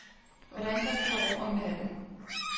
Hvordan kan vi få ro om natten?